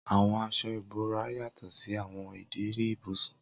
Awọn aṣọ ibora yatọ si awọn ideri ibusun.